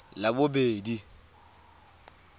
labobedi